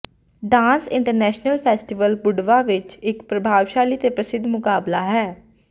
dance international festival Budva ਵਿਚ ਇਕ ਪ੍ਰਤਿਭਾਸ਼ਾਲੀ ਤੇ ਪ੍ਰਸਿੱਧ ਮੁਕਾਬਲਾ ਹੈ